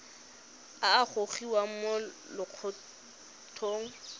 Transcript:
a a gogiwang mo lokgethong